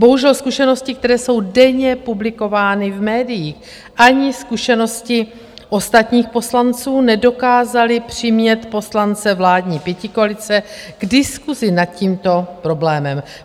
Bohužel zkušenosti, které jsou denně publikovány v médiích, ani zkušenosti ostatních poslanců nedokázaly přimět poslance vládní pětikoalice k diskusi nad tímto problémem.